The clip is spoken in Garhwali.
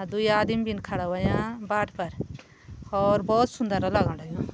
अर दुई आदमीन भी खड़ा होयां बाट पर होर बहोत सुन्दर लगण लग्युं।